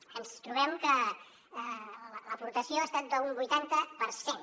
ens trobem que l’aportació ha estat d’un vuitanta per cent